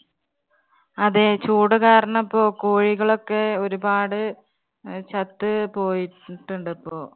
അതേ ചൂട് കാരണം ഇപ്പം കോഴികളൊക്കെ ഒരുപാട് അഹ് ചത്ത് പോയിട്ടുണ്ട് ഇപ്പോ.